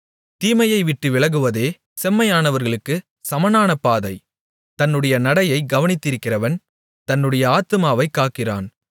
தீமையை விட்டு விலகுவதே செம்மையானவர்களுக்குச் சமனான பாதை தன்னுடைய நடையைக் கவனித்திருக்கிறவன் தன்னுடைய ஆத்துமாவைக் காக்கிறான்